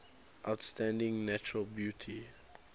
outstanding natural beauty